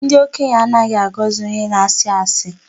Ndị okenye anaghị agọzị onye na-asị asị